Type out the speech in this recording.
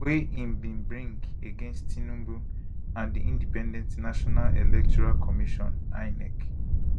wey im bin bring against tinubu and di independent national electoral commission inec